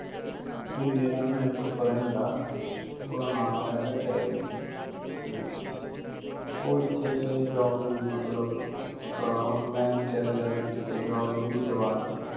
ਵੀ ਮੇਰਾ ਨਾ ਇੱਕ friend ਆ ਉਹਦਾ ਨਾਮ ਹੈਗਾ Davy, ਤੇ ਉਹ ਇੱਥੇ job ਜੂਬ ਮਤਲਬ, ਅੰ ਮੈਂ ਉਹਨੂੰ ਕਿਹਾ ਯਾਰ ਬੀ ਕਿਤੇ job ਜੂਬ ਹੀ ਲਵਾਦੇ